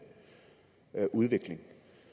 udvikling